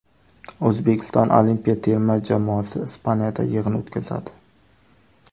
O‘zbekiston olimpiya terma jamoasi Ispaniyada yig‘in o‘tkazadi.